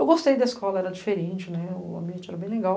Eu gostei da escola, era diferente, o ambiente era bem legal.